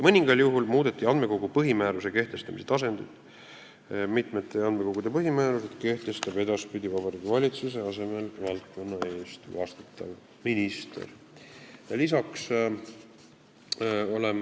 Mõningal juhul muudeti andmekogu põhimääruse kehtestamise tasandit, mitmete andmekogude põhimäärused kehtestab edaspidi Vabariigi Valitsuse asemel valdkonna eest vastutav minister.